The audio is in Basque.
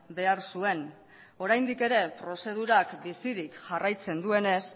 behar zuen oraindik ere prozedurak bizirik jarraitzen duenez